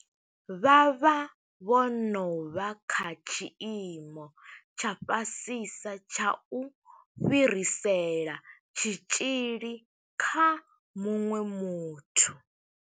Vha vha vho no vha kha tshiimo tsha fhasisa tsha u fhirisela tshitzhili kha muṅwe muthu.